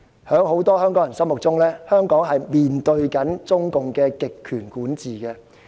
在很多香港人心目中，香港正面對中共的極權管治。